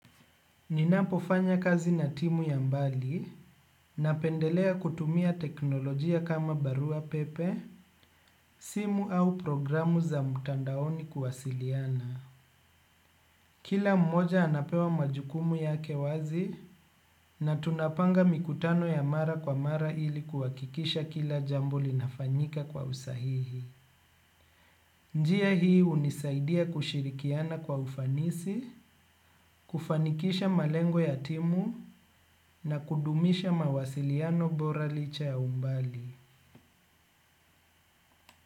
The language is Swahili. Ninapofanya kazi na timu ya mbali napendelea kutumia teknolojia kama barua pepe, simu au programu za mtandaoni kuwasiliana. Kila mmoja anapewa majukumu yake wazi na tunapanga mikutano ya mara kwa mara ili kuhakikisha kila jambo linafanyika kwa usahihi. Njia hii hunisaidia kushirikiana kwa ufanisi, kufanikisha malengo ya timu na kudumisha mawasiliano bora licha ya umbali.